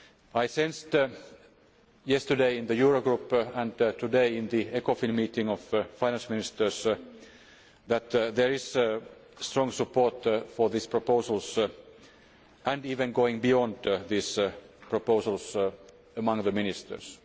I sensed yesterday in the Euro Group and today in the Ecofin meeting of Finance Ministers that there is strong support for these proposals and even going beyond these proposals among the Ministers.